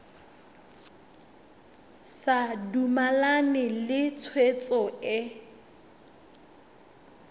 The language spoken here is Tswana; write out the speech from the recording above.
sa dumalane le tshwetso e